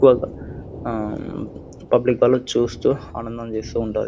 Public అలా చూస్తూ ఆనందం చేస్తూ ఉంటది.